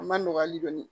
A ma nɔgɔ hali dɔɔni